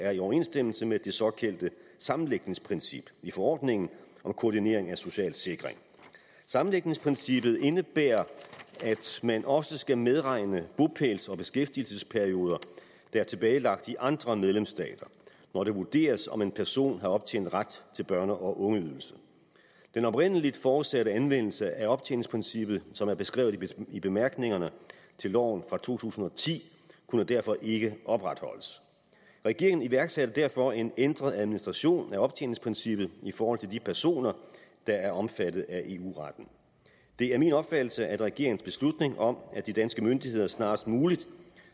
er i overensstemmelse med det såkaldte sammenlægningsprincip i forordningen om koordinering af social sikring da sammenlægningsprincippet indebærer at man også skal medregne bopæls og beskæftigelsesperioder i andre medlemsstater når det vurderes om en person har optjent ret til børne og ungeydelsen den oprindelig forudsatte anvendelse af optjeningsprincippet som er beskrevet i bemærkningerne til loven fra to tusind og ti kunne derfor ikke opretholdes regeringen iværksatte derfor en ændret administration af optjeningsprincippet i forhold til de personer der er omfattet af eu retten det er min opfattelse at regeringens beslutning om at de danske myndigheder snarest muligt